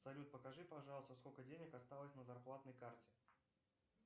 салют покажи пожалуйста сколько денег осталось на зарплатной карте